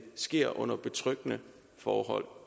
sker under betryggende forhold